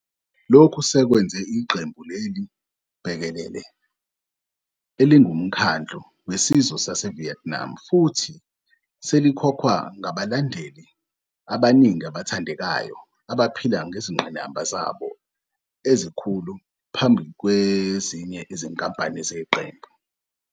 Lokhu sekwenza iqembu leli bhekelele elingumkhandlu wesizwe saseVietnam futhi selikhokhwa ngabalandeli abaningi abathandekayo, abaphila ngezingqinamba zabo ezikhulu phambi kwezinye izinkampani zeqembu.